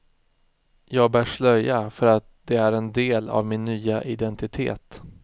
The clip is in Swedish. Jag bär slöja för att det är en del av min nya identitet.